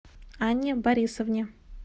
анне борисовне